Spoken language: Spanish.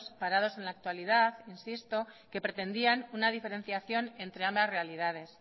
parados en la actualidad insisto que pretendían una diferenciación entre ambas realidades